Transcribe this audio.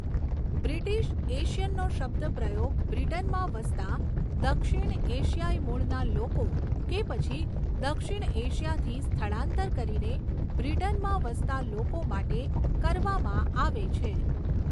British એશિયનનો શબ્દ પ્રયોગ બ્રિટનમાં વસતાં દક્ષિણ એશિયાઈ મૂળના લોકો કે પછી દક્ષિણ એશિયાથી સ્થળાંતર કરીને બ્રિટનમાં વસતાં લોકો માટે કરવામાં આવે છે.